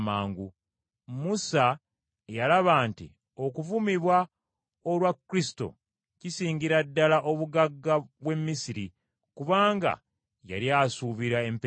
Musa yalaba nti okuvumibwa olwa Kristo kisingira wala obugagga bw’e Misiri, kubanga yali asuubira empeera.